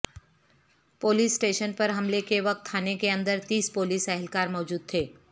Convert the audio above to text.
police station پر حملے کے وقت تھانے کی اندر تیس پولیس اہلکار موجود تھے